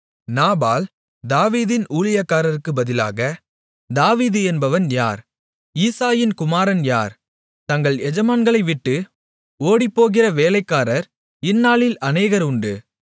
நாபால் தாவீதின் ஊழியக்காரருக்குப் பதிலாக தாவீது என்பவன் யார் ஈசாயின் குமாரன் யார் தங்கள் எஜமான்களை விட்டு ஓடிப்போகிற வேலைக்காரர் இந்நாளில் அநேகர் உண்டு